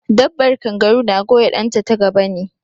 Dabbar kangaru na goya ɗan ta ta gaba ne